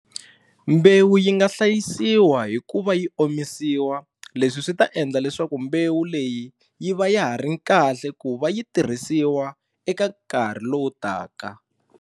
Mbewu yi nga hlayisiwa hi ku va yi omisiwa leswi swi ta endla leswaku mbewu leyi yi va ya ha ri kahle ku va yi tirhisiwa eka nkarhi lowu taka.